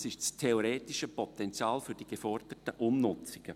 Das ist das theoretische Potenzial für die geforderten Umnutzungen.